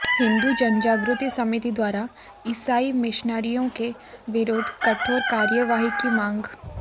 हिन्दू जनजागृति समिति द्वारा ईसाई मिशनरियों के विरुद्ध कठोर कार्यवाही की मांग